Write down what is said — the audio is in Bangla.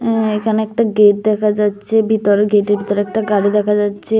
অ্যা-এখানে একটা গেট দেখা যাচ্ছে ভিতরে গেটের ভিতরে একটা গাড়ি দেখা যাচ্ছে।